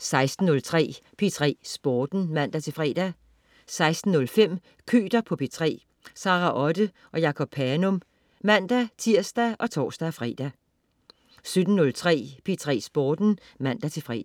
16.03 P3 Sporten (man-fre) 16.05 Køter på P3. Sara Otte og Jacob Panum (man-tirs og tors-fre) 17.03 P3 Sporten (man-fre)